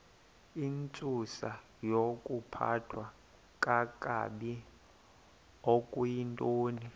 intsusayokuphathwa kakabi okuyintoni